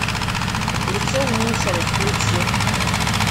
лицо в мусоре включи